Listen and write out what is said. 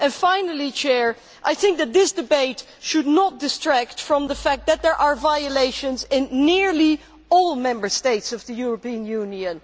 Finally, I think that this debate should not distract from the fact that there are violations in nearly all Member States of the European Union.